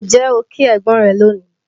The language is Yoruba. Ǹjẹ́ o kí ẹ̀gbọ́n rẹ lónìí?